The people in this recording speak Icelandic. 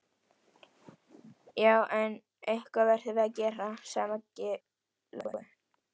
Já, en eitthvað verðum við að gera, sagði Maggi Lóu.